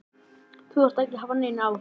Þú þarft ekki að hafa neinar áhyggjur.